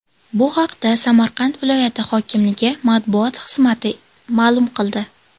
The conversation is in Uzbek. Bu haqda Samarqand viloyati hokimligi matbuot xizmati ma’lum qildi .